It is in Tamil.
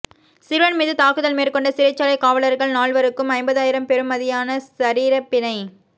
சிறுவன் மீது தாக்குதல் மேற்கொண்ட சிறைச்சாலை காவலர்கள் நால்வருக்கும் ஐம்பதாயிரம் பெறுமதியான சரீரபிணை